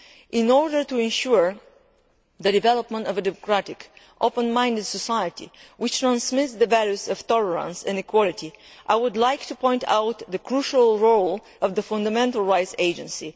In order to ensure the development of a democratic, open minded society which transmits the values of tolerance and equality, I would like to point out the crucial role of the Fundamental Rights Agency.